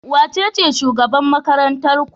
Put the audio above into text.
Wacece shugaban makarantar ku?